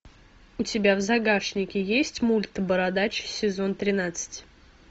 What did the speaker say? у тебя в загашнике есть мульт бородач сезон тринадцать